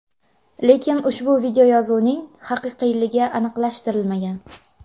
Lekin ushbu videoyozuvning haqiqiyligi aniqlashtirilmagan.